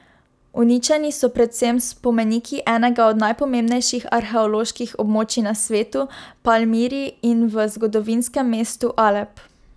Uničeni so predvsem spomeniki enega od najpomembnejših arheoloških območij na svetu, Palmiri, in v zgodovinskem mestu Alep.